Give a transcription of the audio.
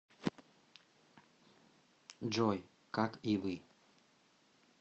джой как и вы